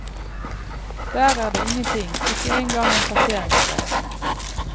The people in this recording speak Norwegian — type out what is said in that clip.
Der er det ingenting, ikke engang en parkeringsplass.